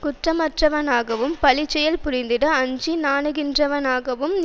குற்றமற்றவனாகவும் பழிச்செயல் புரிந்திட அஞ்சி நாணுகின்றவனாகவும்